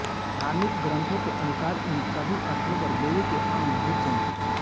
धार्मिक ग्रंथों के अनुसार इन सभी स्थलो पर देवी के अंग गिर थे